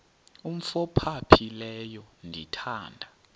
umf ophaphileyo ndithanda